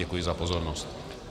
Děkuji za pozornost.